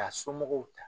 K'a somɔgɔw ta